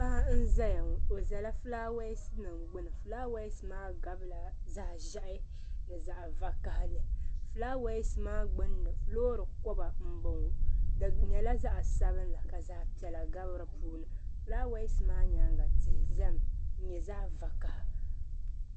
Paɣi n ziya ŋɔ o zala falwɛsi nim gbunni flawaasi maa gabi la zaɣi zɛhi ni zaɣi vakahali flawaasi maa gbinni loori kɔba mbɔŋɔ di yɛla zaɣi sabinli ka zaɣi piɛlla gabi di puuni flawaasi maa yɛanga tihi zami n yɛ zaɣi vakaha.